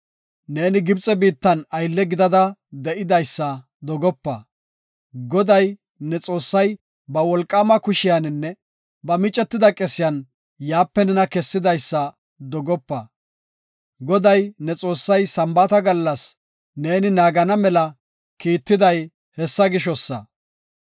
Neeni Gibxe biittan aylle gidada de7idaysa dogopa. Goday, ne Xoossay ba wolqaama kushiyaninne ba micetida qesiyan yaape nena kessidaysa dogopa. Goday, ne Xoossay Sambaata gallas neeni naagana mela kiitiday hessa gishosa.